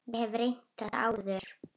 Ég hef reynt þetta áður.